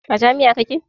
A jami'a kake?